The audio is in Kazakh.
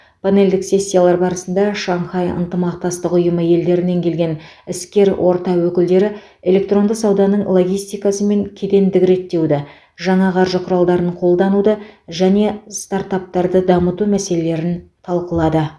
панельдік сессиялар барысында шанхай ынтымақтастық ұйымы елдерінен келген іскер орта өкілдері электронды сауданың логистикасы мен кедендік реттеуді жаңа қаржы құралдарын қолдануды және стартаптарды дамыту мәселелерін талқылады